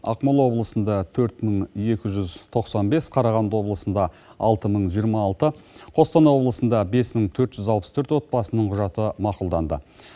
ақмола облысында төрт мың екі жүз тоқсан бес қарағанды облысында алты мың жиырма алты қостанай облысында бес мың төрт жүз алпыс төрт отбасының құжаты мақұлданды